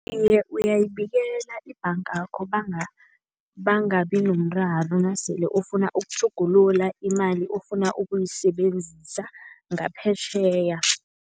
Iye, uyayibekela ibhangakho bangabi nomraro nasele ufuna ukutjhugulula imali ofuna ukuyisebenzisa ngaphetjheya.